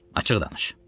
Açıq danış.